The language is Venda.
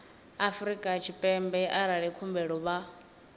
afrika tshipembe arali khumbelo vha